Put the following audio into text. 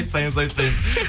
айтпаймыз айтпаймыз